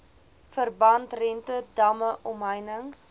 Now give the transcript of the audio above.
verbandrente damme omheinings